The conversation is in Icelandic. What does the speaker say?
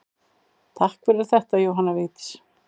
Takk fyrir þetta Jóhanna Vigdís.